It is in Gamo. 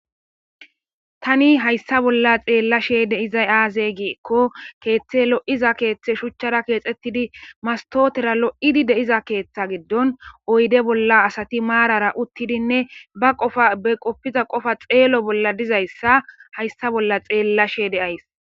tani hayssa bolla xeella she de izay aazey giikko keeththe lo7iza keeththe shuchchara keexxettidi mastotera lo7idi de7iza keeththa giddon oyde bolla asati maarara uttidinne ba qofa be qoppiza qofa xeelo bolla dizayssa hayssa bolla xeella she deays